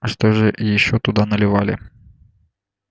а что же ещё туда наливали